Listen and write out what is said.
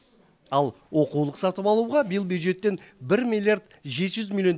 ал оқулық сатып алуға биыл бюджеттен бір миллиард жеті жүз миллион